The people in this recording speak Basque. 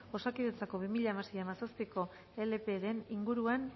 osakidetzako bi mila hamasei bi mila hamazazpiko leparen inguruan